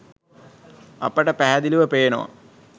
අපට පැහැදිලිව පේනවා